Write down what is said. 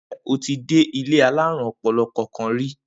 Ǹjé̩ o ti dé ilé alárùn o̩po̩lo̩ kankan ri?